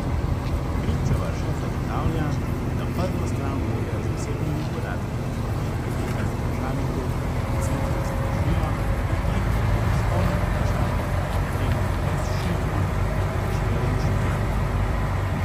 Krivčeva še zagotavlja, da prvo stran vloge z osebnimi podatki, ki je pripeta vprašalniku, v centru zadržijo, medtem ko izpolnjen vprašalnik, opremljen le s šifro, pošljejo inštitutu.